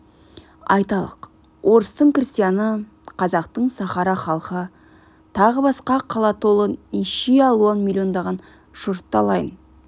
айталық орыстың крестьяны қазақтың сахара халқы тағы басқа қала толы неше алуан миллиондаған жұртты алайын